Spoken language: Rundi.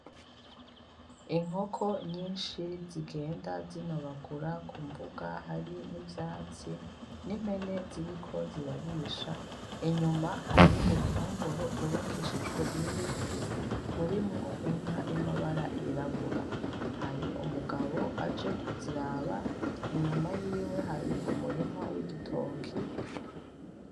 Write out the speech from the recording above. Inkoko nyinshi zigenda zinobagura ku mbuga hari nivyatsi nimpene ziriko zirarisha inyuma hari uruhongore rwubakishijwe nibiti rurimwo inka yamabara yirabura, hari umugabo aje kuziraba inyuma yiwe hari umurima w'igitoki.